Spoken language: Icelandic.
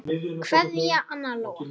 Kveðja, Anna Lóa.